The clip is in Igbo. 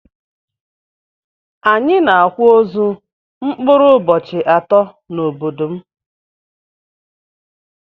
Anyi na akwa ozu mkpụrụ ụbohi atọ na obodom.